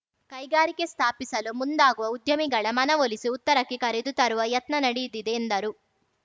ಕೈಗಾರಿಕೆ ಸ್ಥಾಪಿಸಲು ಮುಂದಾಗುವ ಉದ್ಯಮಿಗಳ ಮನವೊಲಿಸಿ ಉತ್ತರಕ್ಕೆ ಕರೆದು ತರುವ ಯತ್ನ ನಡೆಯಿದಿದೆ ಎಂದರು